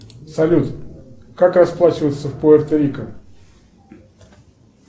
салют как расплачиваться в пуэрто рико